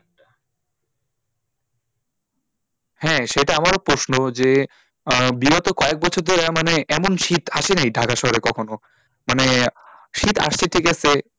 হ্যাঁ সেটা আমারও প্রশ্ন যে আহ বিগত কয়েক বছর ধরে মানে এমন শীত আসে নাই ঢাকা শহরে কখনো মানে শীত গেছে